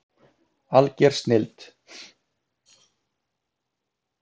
Alger snilld